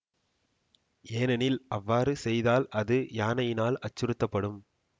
ஏனெனில் அவ்வாறு செய்தால் அது யானையினால் அச்சுறுத்தப்படும்